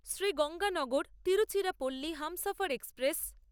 Shri গঙ্গানগর-তিরুচিরাপল্লী Humsafar express